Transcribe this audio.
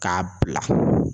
K'a bila.